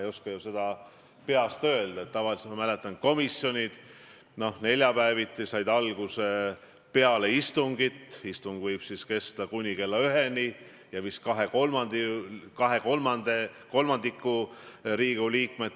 Te olete tegelikult oma ametis täna ju tõestanud, et selle nimel, et olla peaministritoolil – kuna see on teie jaoks ainukene poliitiline võimalus selles koosluses peaminister olla –, hoiate te sellest nii hirmsasti kinni, et unustate ära need põhiprintsiibid ja väärtused, mille eest võiks ja peaks Eesti Vabariigi peaminister seisma.